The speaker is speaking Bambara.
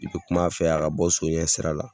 I bɛ kum'a fɛ, a ka bɔ so ɲɛ sira la.